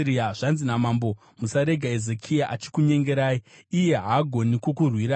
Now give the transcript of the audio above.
Zvanzi namambo: Musarega Hezekia achikunyengerai. Iye haangagoni kukurwirai!